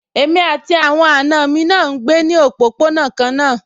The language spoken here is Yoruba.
Èmi àti àwọn àna mi náà ń gbé ní òpópónà kan náà